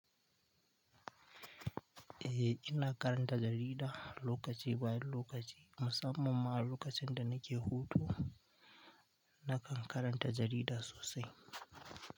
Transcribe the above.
Eh ina karanta jarida lokaci bayan lokaci, musamman ma lokacin da nake hutu, nakan karanta jarida sosai.